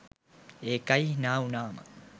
ඒකයි හිනා වුනාම